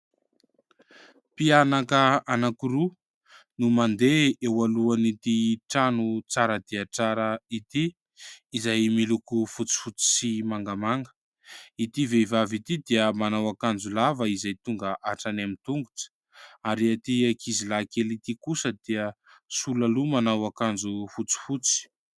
Mpianaka anankiroa no mandeha eo alohan'ity trano tsara dia tsara ity izay miloko fotsifotsy sy mangamanga, ity vehivavy ity dia manao akanjo lava izay tonga hatrany amin'ny tongotra ary ity akizilahy kely ity kosa dia sola loha manao akanjo fotsifotsy.